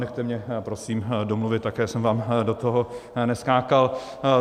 Nechte mě prosím domluvit, také jsem vám do toho neskákal.